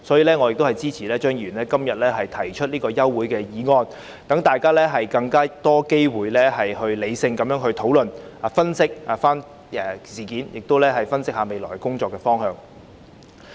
因此，我支持張議員今天提出的休會待續議案，讓大家有更多機會進行理性討論，以及分析事件和未來工作的方向。